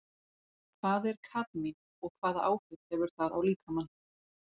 Hvað er kadmín og hvaða áhrif hefur það á líkamann?